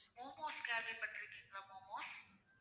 momos கேள்விப்பட்டிருக்கீங்களா momos